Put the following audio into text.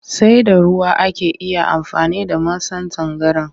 Sai da ruwa ake iya amfani da masan tangaran